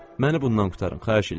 Məni bundan qurtarın, xahiş eləyirəm.